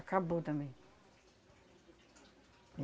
Acabou também.